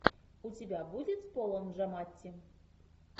у тебя будет с полом джаматти